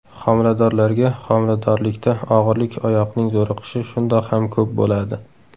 Xomiladorlarga Xomiladorlikda og‘irlik, oyoqning zo‘riqishi shundoq ham ko‘p bo‘ladi.